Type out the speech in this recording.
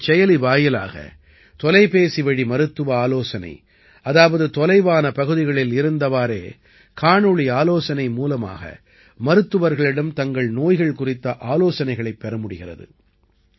இந்தச் செயலி வாயிலாக தொலைபேசிவழி மருத்துவ ஆலோசனை அதாவது தொலைவான பகுதிகளில் இருந்தவாறே காணொளி ஆலோசனை மூலமாக மருத்துவர்களிடம் தங்கள் நோய்கள் குறித்த ஆலோசனைகளைப் பெற முடிகிறது